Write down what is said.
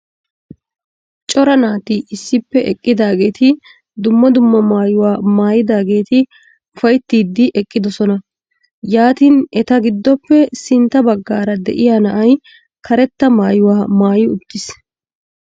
Cora naati issippe eqqidaageti dumma dumma maayuwaa maayidaageti ufayttiidi eqqidosona. yaatin eta gidoppe sintta baggaara de'iyaa na'ay karetta maayuwaa maayi uttiis.